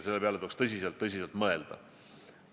Selle peale tuleks väga tõsiselt mõelda.